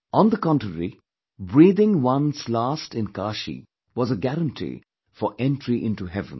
On the contrary, breathing one's last in Kaashi was a guarantee for entry into heaven